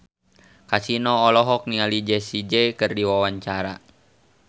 Kasino olohok ningali Jessie J keur diwawancara